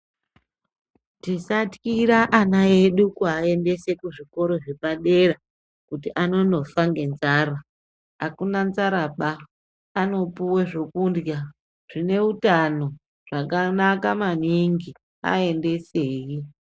Tisathyira ana edu kuaendese kuzvikora zvepadera kuti anonofa ngenzara, akuna nzaraba anopuwe zvokundhya zvine utano zvakanaka maningi aendesei.